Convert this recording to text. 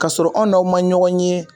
Ka sɔrɔ an n'aw man ɲɔgɔn ye.